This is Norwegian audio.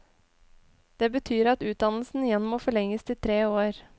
Det betyr at utdannelsen igjen må forlenges til tre år.